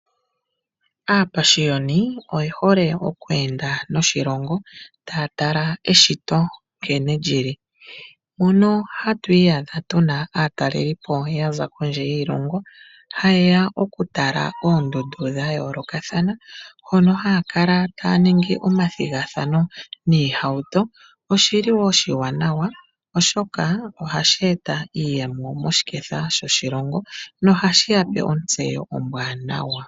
Aapashioni oyehole okweenda noshilongo taya tala keshito nkene lyili. Mono hatu iyadha aatalelipo yaza kondje yiilongo hayeya okutala oondundu dhayoolokathana , hono haya kala taya ningi omathigathano niihauto . Oshili wo oshiwanawa oshoka ohashi eta iiyemo moshiketha shoshilongo, nohashi yape ontseyo ombwaanawa.